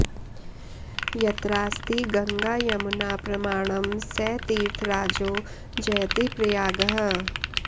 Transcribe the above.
यत्रास्ति गङ्गा यमुना प्रमाणं स तीर्थराजो जयति प्रयागः